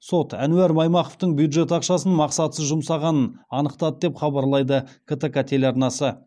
сот әнуар маймақовтың бюджет ақшасын мақсатсыз жұмсағанын анықтады деп хабарлайды ктк телеарнасы